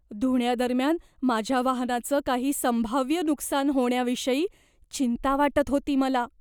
धुण्यादरम्यान माझ्या वाहनाचं काही संभाव्य नुकसान होण्याविषयी चिंता वाटत होती मला.